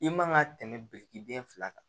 I man ka tɛmɛ birikiden fila kan